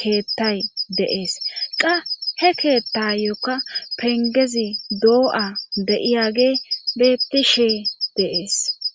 keettay deees qa he keettayokka pengezi doo7a beyiyage beettishe deees